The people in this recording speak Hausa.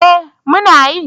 Eh muna yi.